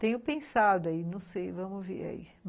Tenho pensado aí, não sei, vamos ver aí.